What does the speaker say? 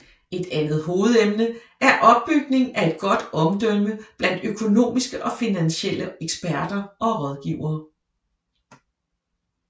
Et andet hovedemne er opbygning af et godt omdømme blandt økonomiske og finansielle eksperter og rådgivere